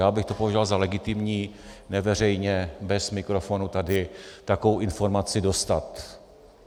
Já bych to považoval za legitimní, neveřejně, bez mikrofonu tady takovou informaci dostat.